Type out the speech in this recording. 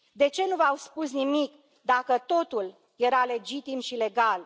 De ce nu v au spus nimic, dacă totul era legitim și legal